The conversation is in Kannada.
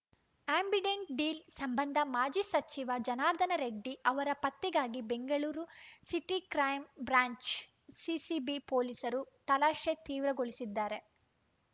ಆ್ಯಂಬಿಡೆಂಟ್‌ ಡೀಲ್‌ ಸಂಬಂಧ ಮಾಜಿ ಸಚಿವ ಜನಾರ್ದನ ರೆಡ್ಡಿ ಅವರ ಪತ್ತೆಗಾಗಿ Bengaluru city crime branch CCB ಪೊಲೀಸರು ತಲಾಶೆ ತೀವ್ರಗೊಳಿಸಿದ್ದಾರೆ